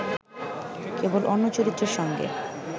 কেবল অন্য চরিত্রের সঙ্গে